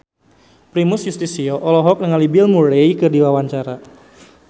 Primus Yustisio olohok ningali Bill Murray keur diwawancara